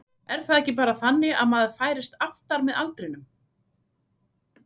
Er það ekki bara þannig að maður færist aftar með aldrinum?